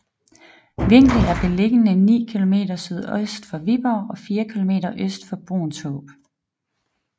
Vinkel er beliggende ni kilometer sydøst for Viborg og fire kilometer øst for Bruunshaab